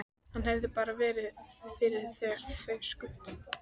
Hann hefði bara verið fyrir þegar þeir skutu.